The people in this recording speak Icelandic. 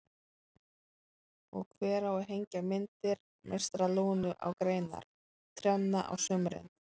Og hver á að hengja myndir meistara Lúnu á greinar trjánna á sumrin?